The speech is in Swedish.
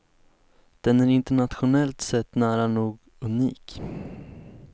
Den är internationellt sett nära nog unik.